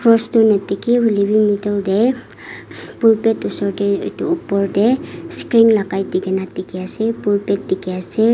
Rose tu nadekhe hoile be middle tey hm pulpit usor tey etu upor tey screen lakai dekena dekhe ase pulpit deke ase.